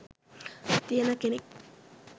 තියන කෙනෙක්.